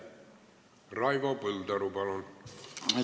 Raivo Põldaru, palun!